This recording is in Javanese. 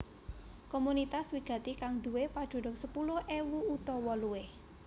Komunitas wigati kang nduwé padunung sepuluh ewu utawa luwih